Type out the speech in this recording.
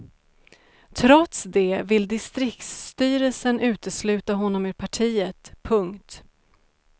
Trots det vill distriksstyrelsen utesluta honom ur partiet. punkt